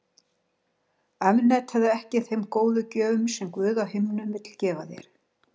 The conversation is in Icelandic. Afneitaðu ekki þeim góðu gjöfum sem Guð á himnum vill gefa þér.